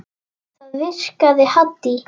Það virkaði Haddý.